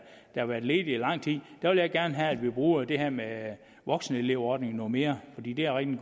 har været ledige i lang tid vil jeg gerne have at vi bruger det her med voksenelevordningen noget mere fordi det er en